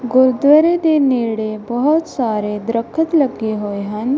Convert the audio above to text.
ਗੁਰਦੁਆਰੇ ਦੇ ਨੇੜੇ ਬਹੁਤ ਸਾਰੇ ਦਰਖਤ ਲੱਗੇ ਹੋਏ ਹਨ।